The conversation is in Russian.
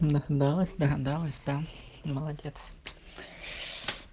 догадалась догадалась да молодец